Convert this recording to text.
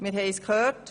Wir haben es gehört: